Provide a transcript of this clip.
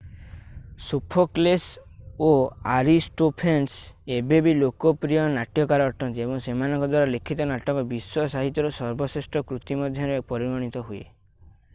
Sophocles ଓ Aristophanes ଏବେ ବି ଲୋକପ୍ରିୟ ନାଟ୍ୟକାର ଅଟନ୍ତି ଏବଂ ସେମାନଙ୍କ ଦ୍ୱାରା ଲିଖିତ ନାଟକ ବିଶ୍ୱ ସାହିତ୍ୟର ସର୍ବଶ୍ରେଷ୍ଠ କୃତି ମଧ୍ୟରେ ପରିଗଣିତ ହୁଏ